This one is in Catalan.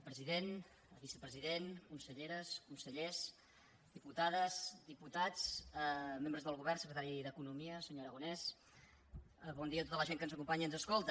president vicepresident conselleres consellers diputades diputats membres del govern secretari d’economia senyor aragonès bon dia a tota la gent que ens acompanya i ens escolta